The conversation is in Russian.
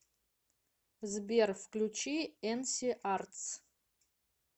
сбер включи энси артс